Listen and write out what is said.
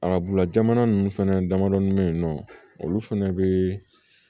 Arabula jamana ninnu fɛnɛ damadɔnin bɛ yen nɔ olu fɛnɛ bɛ